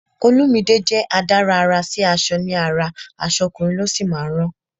Olumide jẹ́ adárà àrà sí aṣọ ní ara, aṣọ ọkùnrin ló sì máa ń rán